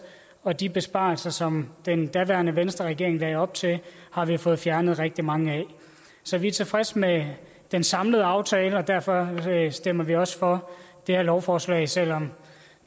og de besparelser som den daværende venstreregering lagde op til har vi fået fjernet rigtig mange af så vi er tilfredse med den samlede aftale og derfor stemmer vi også for det her lovforslag selv om